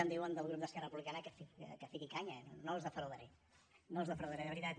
em diuen des del grup d’esquerra republicana que fiqui canya no els defraudaré no els defraudaré de veritat